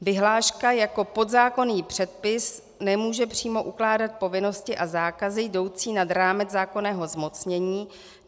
Vyhláška jako podzákonný předpis nemůže přímo ukládat povinnosti a zákazy jdoucí nad rámec zákonného zmocnění.